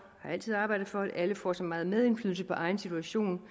har altid arbejdet for at alle får så meget medindflydelse på egen situation